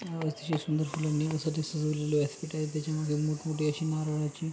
अ अतिशय सुंदर फुलणी व्यासपीठ आहे त्यामध्ये मोठ मोठी अशी नारळाची--